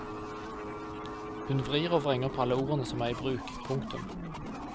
Hun vrir og vrenger på alle ordene som er i bruk. punktum